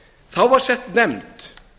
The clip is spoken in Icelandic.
þá var sett nefnd